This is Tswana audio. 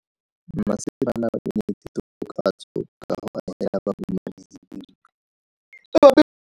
Mmasepala o neetse tokafatso ka go agela bahumanegi dintlo.